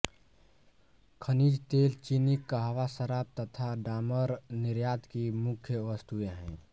खनिज तेल चीनी कहवा शराब तथा डामर निर्यात की मुख्य वस्तुएँ हैं